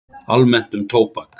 Almennt um tóbak